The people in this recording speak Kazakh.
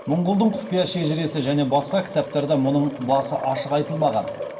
мұңғұлдың құпия шежіресі және басқа кітаптарда мұның басы ашық айтылмаған